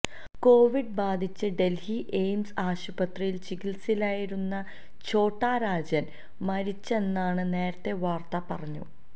Covid ബാധിച്ച് Delhi AIIMS ആശുപത്രിയിൽ ചികിത്സയിലായിരുന്ന ഛോട്ടാ രാജൻ മരിച്ചെന്നാണ് നേരത്തെ വാർത്ത പുറത്തു